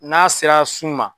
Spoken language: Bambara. N'a sera sun ma.